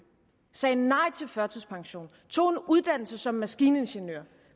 sagde nej til førtidspension tog en uddannelse som maskiningeniør